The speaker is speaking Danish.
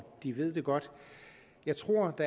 de ved det godt jeg tror